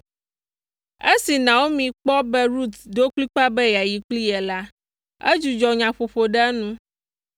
Esi Naomi kpɔ be Rut ɖo kplikpaa be yeayi kpli ye la, edzudzɔ nyaƒoƒo ɖe enu,